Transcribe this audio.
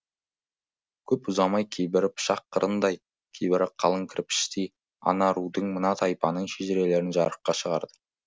көп ұзамай кейбірі пышақ қырындай кейбірі қалың кірпіштей ана рудың мына тайпаның шежірелерін жарыққа шығарды